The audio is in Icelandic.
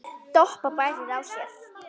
Doppa bærir á sér.